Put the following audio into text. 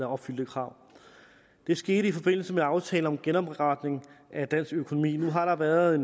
opfylde kravet det skete i forbindelse med aftalen om genopretning af dansk økonomi nu har der været